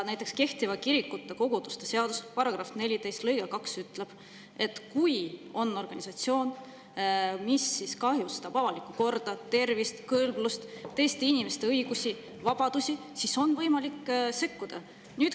Näiteks kehtiva kirikute ja koguduste seaduse § 14 lõige 2 ütleb, et kui on organisatsioon, mis kahjustab avalikku korda, tervist, kõlblust või teiste inimeste õigusi ja vabadusi, siis on võimalik sekkuda.